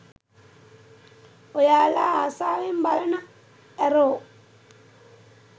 ඔයාලා ආසාවෙන් බලන ඇරෝ